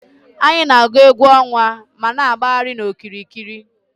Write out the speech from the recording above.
Anyị na-agụ egwú ọnwa ma na-agbagharị n'okiriki.